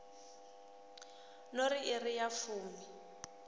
no ri iri ya fumi